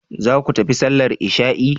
Zaku tafi sallar isha'i?